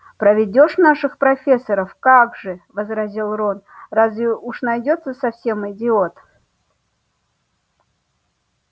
проведёшь наших профессоров как же возразил рон разве уж найдётся совсем идиот